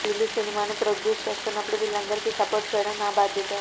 వీళ్లు సినిమాను ప్రొడ్యూస్ చేస్తున్నప్పుడు వీళ్లందరికీ సపోర్ట్ చేయడం నా బాధ్యత